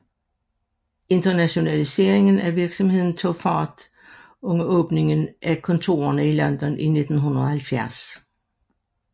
Internationaliseringen af virksomheden tog fart med åbningen af kontorerne i London i 1970